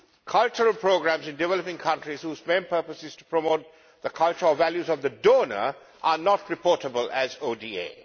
Cultural programmes in developing countries, whose main purpose is to promote the cultural values of the donor, are not reportable as ODA.